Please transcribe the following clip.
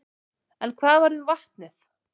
En hvað varð um vatnið?